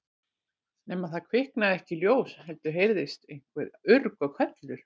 Nema það kviknaði ekki ljós heldur heyrðist aðeins urg og hvellur.